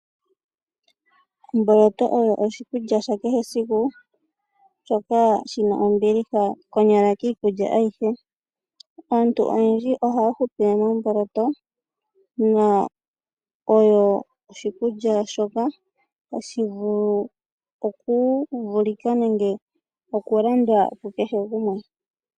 Omboloto oyo oshikulya sha kehe esiku , shoka shina ombiliha konyala kiikulya oyindji. Aantu oyendji ohaya hupile momboloto , oyo oshikulya shoka tashi vulu okuvulika nenge okulandwa kukehe gumwe.